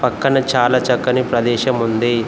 పక్కన చాలా చక్కని ప్రదేశం ఉంది.